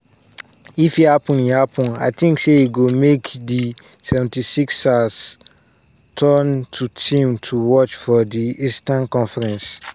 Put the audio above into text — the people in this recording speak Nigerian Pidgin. if e happun e happun i tink say e go make di 76ers turn to team to watch for di eastern conference."